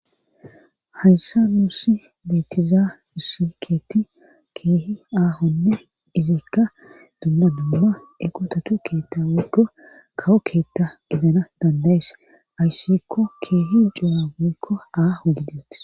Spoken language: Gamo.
hayssa nuusi beetiza nusi keetti keehi aahonne izikka dumma dumma eqotatu keetta wigga kawo keetta izana dandayees ayssikko keehi juwawokko aaho gidetes